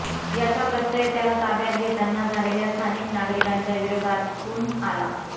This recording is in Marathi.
याचा प्रत्यय त्याला ताब्यात घेतांना झालेल्या स्थानिक नागरिकांच्या विरोधातून आला